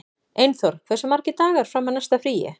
Einþór, hversu margir dagar fram að næsta fríi?